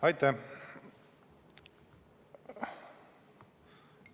Aitäh!